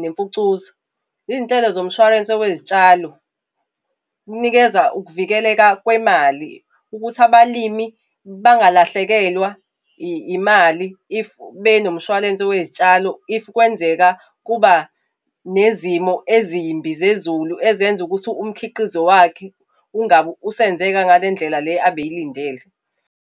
nemfucuza. Iy'nhlelo zomshwalense wezitshalo, kunikeza ukuvikeleka kwemali, ukuthi abalimi bangalahlekelwa imali If benomshwalense wey'tshalo if kwenzeka kuba nezimo ezimbi zezulu ezenza ukuthi umkhiqizo wakhe ungabi usenzeka ngale ndlela le abeyilindele.